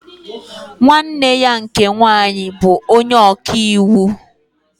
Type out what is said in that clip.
Nwanne nne ya nke nwaanyị bụ onye ọka iwu